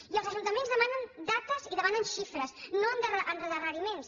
i els ajuntaments demanen dates i demanen xifres no endarreriments